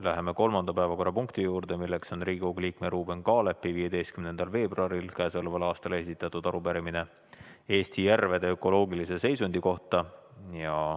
Läheme kolmanda päevakorrapunkti juurde, Riigikogu liikme Ruuben Kaalepi 15. veebruaril k.a esitatud arupärimine Eesti järvede ökoloogilise seisundi kohta.